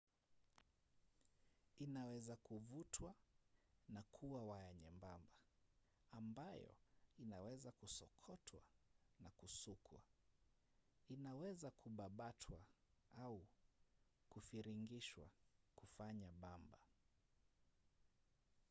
inaweza kuvutwa na kuwa waya nyembamba ambayo inaweza kusokotwa na kusukwa. inaweza kubabatwa au kufiringishwa kufanya bamba